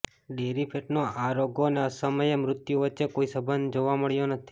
dairy ફેટનો આ રોગો અને અસમયે મૃત્યુ વચ્ચે કોઈ સંબંધ જોવા મળ્યો નથી